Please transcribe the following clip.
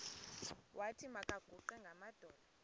wathi makaguqe ngamadolo